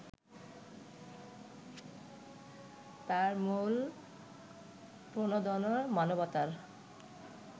তার মূল প্রণোদনা মানবতার